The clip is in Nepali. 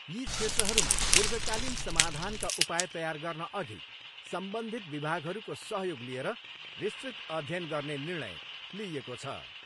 यी क्षेत्रहरूमा दीर्घकालिन समाधानका उपाय तयार गर्नअघि सम्बन्धित विभागहरूको सहयोग लिएर विस्तृत अध्ययन गर्ने निर्णय लिइएको छ।